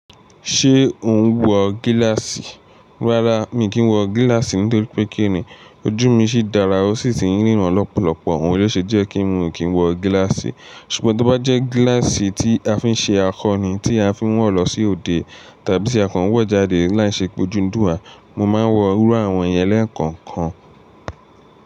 Ṣé o ń wọ gíláàsì? Rárá, mi kìn wọ gíláàsì nítorí pé kíni ojú mi sì dára ó sì ti ń ríran lọ́pọ̀lọpọ̀, òun ló ṣe jẹ́ kí n mi kí n wọ gíláàsì. Ṣùgbọ́n tó bá jẹ́ gíláàsì tí a fi ń ṣe akọni, tí a fi ń wọ̀ lọ sí òde tàbí tí a kàn wọ̀ jáde láìṣe pé ojú ń dùn wá, mo máa ń wọ irú àwọn yẹn lẹ́ẹ̀kan kan.